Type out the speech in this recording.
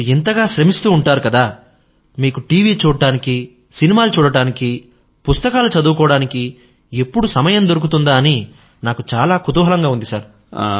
మీరు ఇంతగా శ్రమిస్తూ ఉంటారు కదా మీకు టీవీ చూడడానికీ సినిమాలు చూడడానికీ పుస్తకాలు చదువుకోవడానికీ ఎప్పుడు సమయం దొరుకుతుందా అని నాకు చాలా కుతూహలంగా ఉంది